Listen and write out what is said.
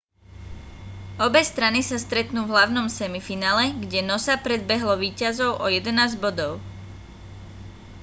obe strany sa stretnú v hlavnom semifinále kde noosa predbehlo víťazov o 11 bodov